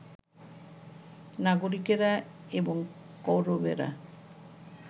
নাগরিকেরা, এবং কৌরবেরা